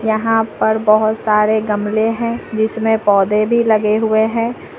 यहां पर बहुत सारे गमले हैं जिसमें पौधे भी लगे हुए हैं।